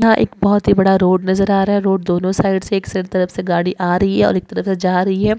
यहा एक बहोत ही बड़ा रोड नज़र आ रहा है रोड दोनों साईडसे एक तरफ से गाड़ी आ रही है और एक तरफ से जा रही है